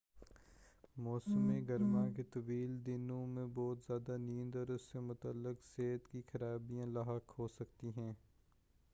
موسم گرما کے طویل دنوں میں بہت زیادہ نیند اور اس سے متعلق صحت کی خرابیاں لاحق ہوسکتی ہیں